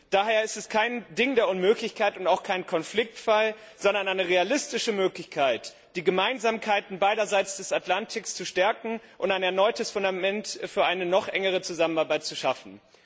Daher ist es kein Ding der Unmöglichkeit und auch kein Konfliktfall, sondern eine realistische Möglichkeit, die Gemeinsamkeiten beiderseits des Atlantiks zu stärken und ein erneutes Fundament für eine noch engere Zusammenarbeit zu schaffen.